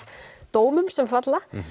dómum sem falla